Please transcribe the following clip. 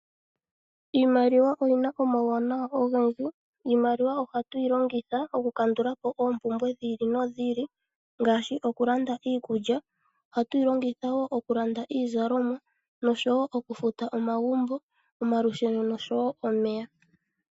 Iimaliwa oyi na omauwanawa ogendji. Iimaliwa ohatu yi longitha okukandula po oompumbwe dhi ili nodhi ili ngaashi okulanda iikulya, ohatu yi longitha wo okulanda iizalomwa noshowo okufuta omagumbo, omalusheno oshowo omeya.